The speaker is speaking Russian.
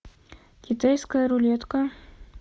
китайская рулетка